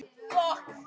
Hann er henni kvöl.